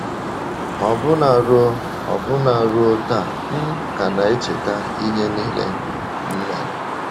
“ Ọbụna ruo Ọbụna ruo taa, m ka na - echeta ihe nile m mere.